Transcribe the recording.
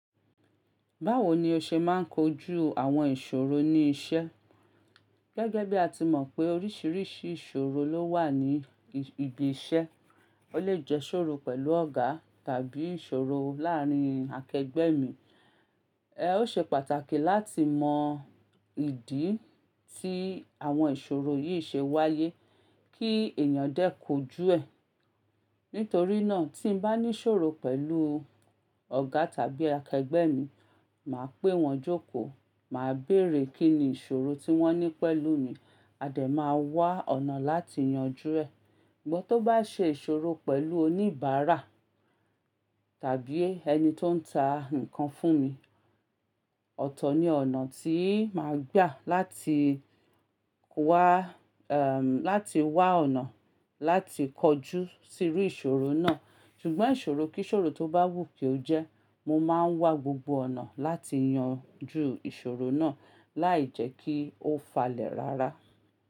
Báwo ni o ṣe máa ń kojú àwọn ìṣòro ní iṣẹ́? Gẹ́gẹ́ bí a ti mọ̀ pé oríṣiríṣi ìṣòrò ló wà ní ibi iṣẹ. Ó lè jẹ́ ìṣòro pẹ̀lú ọ̀gá tàbí ìṣòro láàárín akẹgbẹ́ mi. Ẹ ó ṣe pàtàkì láti mọ ìdí tí àwọn ìṣòro yìí ṣe wáyé kí èèyàn dé kójú ẹ̀. Nítorí náà tí n bá ní ìṣòro pẹ̀lú ọ̀gá tàbí akẹgbẹ́ mi, màá pè wọ́n jókòó, màá bèrè kín ni ìṣòro tí wọ́n ní pẹ̀lú mi, a dẹ̀ máa wá ọ̀nà láti yanjú ẹ̀. Ṣùgbọ́n tó bá ṣe ìṣòro pẹ̀lú oníbàárà tàbí ẹni tó ń ta nǹkan fún mi, ọ̀tọ̀ ni ọ̀nà tí màá gbà láti wá, láti wá ọ̀nà láti kọjú sí irú ìṣòro náà. Ṣùgbọ́n ìṣòro kí ìṣòro tó bá wù kí ó jẹ́, mo máa ń wá gbogbo ọ̀nà láti yanjú ìṣòro náà láì jẹ́ kí ó falẹ̀ rárá.